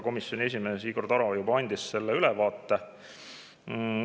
Komisjoni esimees Igor Taro juba andis sellest ülevaate.